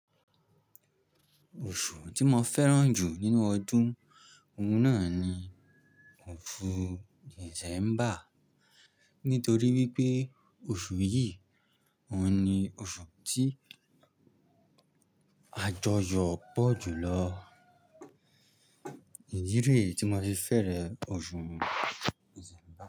Oṣù tí mo fẹ́ràn jù nínú ọdún, òun náà ni oṣù December, nítorí wípé oṣù yìí, òun ni oṣù tí àjọyọ̀ pọ̀ jù lọ. Ìdi ré tí mo ti fẹ́rẹ̀ ọ̀ṣun December.